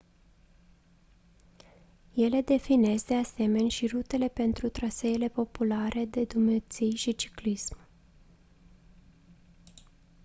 ele definesc de asemeni și rutele pentru traseele populare de drumeții și ciclism